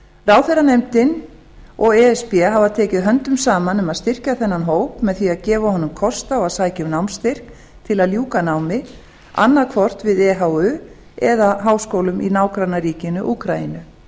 ráðherranefndin og e s b hafa tekið höndum saman um að styrkja þennan hóp með því að gefa honum kost á að sækja um námsstyrk til að ljúka námi annað hvort við ehu eða háskólum í nágrannaríkinu úkraínu